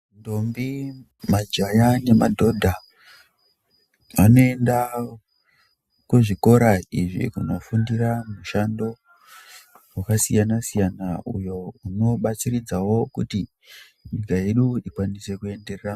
Ndombi majaya nemadhodha vanoenda kuzvikora izvi kunofundira mishando yakasiyana siyana uyo unobatsiridzawo kuti nyika yedu ikwaisa kuenderera ....